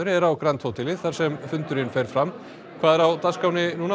er á grand hóteli þar sem fundurinn fer fram hvað er á dagskránni núna